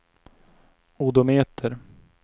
odometer